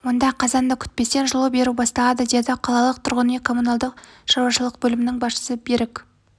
онда қазанды күтпестен жылу беру басталады деді қалалық тұрғын үй коммуналдық шаруашылық бөлімінің басшысы берік